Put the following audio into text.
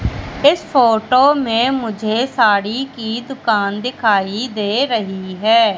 इस फोटो में मुझे साड़ी की दुकान दिखाई दे रही है।